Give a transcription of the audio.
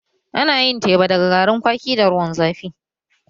Ana yin teba daga garin kwaki da ruwan zafi